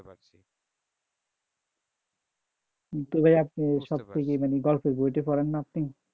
তো ভাই আপনি সব কিছু মানে গল্পের বই টই পড়েন না আপনি?